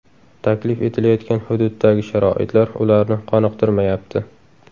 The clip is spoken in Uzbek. Taklif etilayotgan hududdagi sharoitlar ularni qoniqtirmayapti.